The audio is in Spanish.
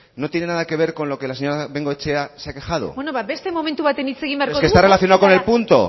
no tiene nada que ver con lo que la señora bengoechea se ha quejado bueno ba beste momentu batean hitz egin beharko dugu es que está relacionado con el punto